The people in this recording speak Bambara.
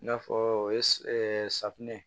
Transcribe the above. I n'a fɔ o ye safunɛ